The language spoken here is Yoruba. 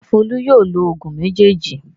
Ǹjẹ́ Folú yóò lo òògùn méjèèjì?